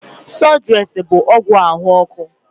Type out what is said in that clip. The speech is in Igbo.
Sụdụres bụ ọgwụ ahụ ọkụ.